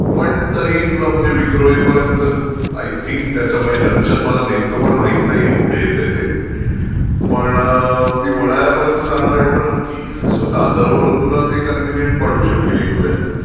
पण तरीही तुला म्हणजे विक्रोळीपर्यंत आय थिंक त्याचं म्हणजे जंक्शन पण मला माहीत नाहीये कुठे येतय ते पण ती वडाळ्यापर्यंत जाणार आहे एवढं नक्की आहे. सो दादर वरून तुला कन्व्हिनियंट पडू शकेल एक वेळ.